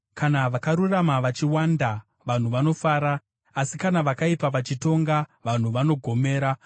Kana vakarurama vachiwanda, vanhu vanofara; asi kana vakaipa vachitonga, vanhu vanogomera.